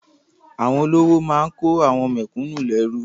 Àwọn olówó máa kó àwọn mẹ̀kúnnù lẹ́rú.